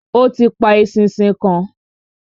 Ó ti pa eṣinṣin kan.